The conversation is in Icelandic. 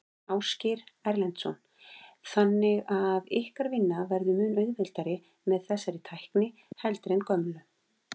Ásgeir Erlendsson: Þannig að ykkar vinna verður mun auðveldari með þessari tækni heldur en gömlu?